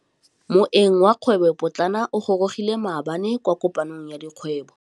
Moêng wa dikgwêbô pôtlana o gorogile maabane kwa kopanong ya dikgwêbô.